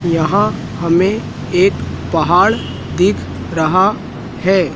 यहां हमें एक पहाड़ दिख रहा है।